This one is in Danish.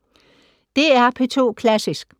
DR P2 Klassisk